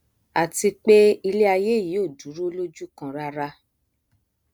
àti pé iléaiyé yìí ò dúró lójú kan rárá